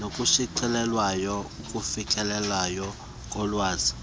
nokushicilelweyo ukufikeleleka kolwazi